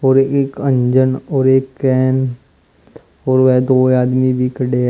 और एक अंजन और एक कैन और वेह दो आदमी भी खड़े है।